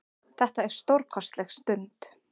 Þetta er stórkostleg stund.